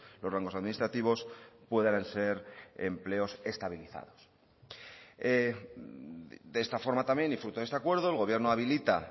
los rangos administrativos puedan ser empleos estabilizados de esta forma también y fruto de este acuerdo el gobierno habilita